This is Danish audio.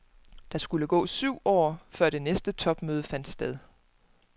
Der skulle gå syv år, før det næste topmøde fandt sted.